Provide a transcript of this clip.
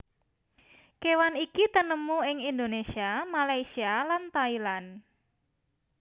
Kéwan iki tinemu ing Indonésia Malaysia lan Thailand